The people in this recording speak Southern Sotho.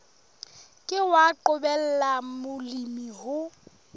ke wa qobella molemi ho